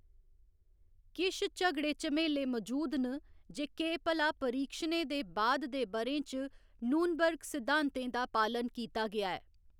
किश झगड़े झमेले मजूद न जे केह्‌‌ भला परीक्षणें दे बाद दे ब'रें च नूर्नबर्ग सिद्धांतें दा पालन कीता गेआ ऐ।